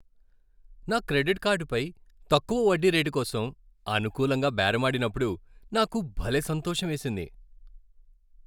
నా క్రెడిట్ కార్డుపై తక్కువ వడ్డీ రేటుకోసం అనుకూలంగా బేరమాడినప్పుడు నాకు భలే సంతోషమేసింది.